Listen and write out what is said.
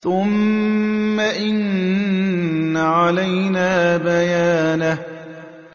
ثُمَّ إِنَّ عَلَيْنَا بَيَانَهُ